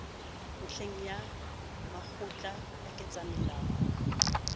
ntlheng ya makgotla a ketsamolao